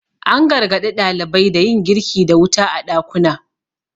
an gargaɗi ɗalibai da yin girki da wuta a ɗakuna